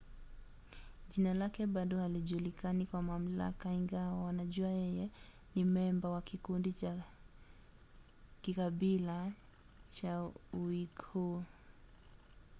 jina lake bado halijulikani kwa mamlaka ingawa wanajua yeye ni memba wa kikundi cha kikabila cha uighur